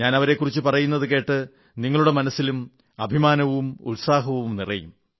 ഞാൻ അവരെക്കുറിച്ച് പറയുന്നതുകേട്ട് നിങ്ങളുടെ മനസ്സിലും അഭിമാനവും ഉത്സാഹവും നിറയും